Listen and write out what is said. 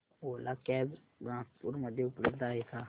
ओला cabs Nagpur मध्ये उपलब्ध आहे का